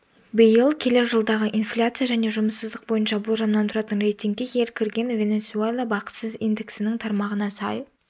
биыл келер жылдағы инфляция және жұмыссыздық бойынша болжамнан тұратын рейтингке ел кірген венесуэла бақыстыз индексінің тармағына сай